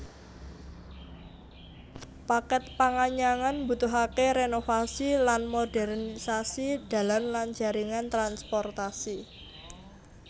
Paket panganyangan mbutuhake renovasi lan modernisasi dalan lan jaringan transportasi